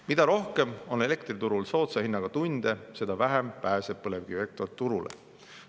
Mida rohkem on elektriturul soodsa hinnaga tunde, seda vähem pääseb põlevkivielekter turule.